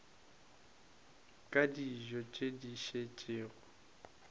ka dijo tše di šetšego